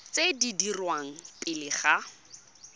tse di dirwang pele ga